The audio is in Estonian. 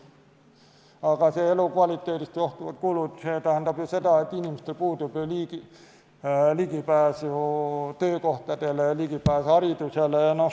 Aga elukvaliteedist johtuvad kulud tähendavad ju seda, et inimestel puudub ligipääs töökohtadele, ligipääs haridusele.